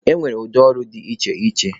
E nwere ụdị ọrụ dị iche iche.